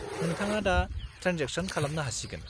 -नोंथाङा दा ट्रेनजेक्सन खालामनो हासिगोन।